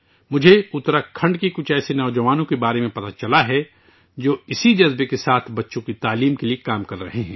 مجھے اتراکھنڈ کے کچھ ایسے نوجوانوں کے بارے میں پتہ چلا ہے جو اسی جذبے کے ساتھ بچوں کی تعلیم کے لیے کام کر رہے ہیں